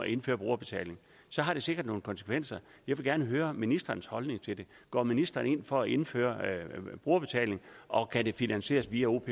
indføre brugerbetaling så har det sikkert nogle konsekvenser jeg vil gerne høre ministerens holdning til det går ministeren ind for at indføre brugerbetaling og kan det finansieres via opp